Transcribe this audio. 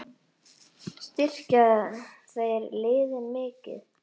Styrkja þeir liðin mikið?